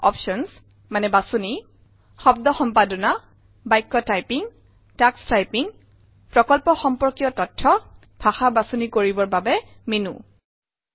options বাচনি - শব্দ সম্পাদনা বাক্য টাইপিং টাক্স টাইপিং প্ৰকল্প সম্পৰ্কীয় তথ্য ভাষা বাচনি কৰিবৰ বাবে মেনো আহাৰিকা